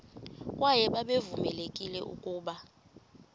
kwaye babevamelekile ukuba